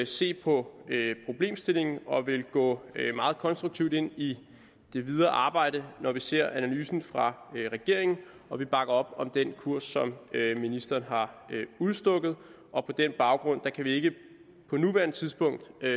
se på problemstillingen og vil gå meget konstruktivt ind i det videre arbejde når vi ser analysen fra regeringen og vi bakker op om den kurs som ministeren har udstukket på den baggrund kan vi ikke på nuværende tidspunkt